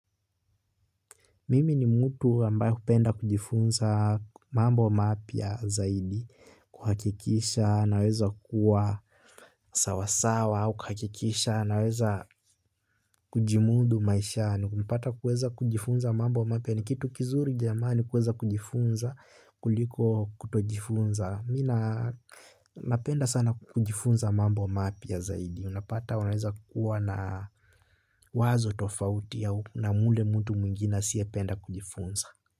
Mimi ni mtu ambaye hupenda kujifunza mambo mapya zaidi, kuhakikisha, naweza kuwa sawasawa, kuhakikisha naweza kujimudu maishani kupata kuweza kujifunza mambo mapya ni kitu kizuri jamani kuweza kujifunza kuliko kutojifunza. Mimi napenda sana kujifunza mambo mapya zaidi unapata wanaweza kuwa na wazo tofauti na mule mtu mwingina asiyependa kujifunza.